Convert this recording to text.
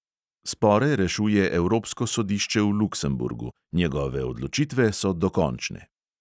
Spore rešuje evropsko sodišče v luksemburgu; njegove odločitve so dokončne.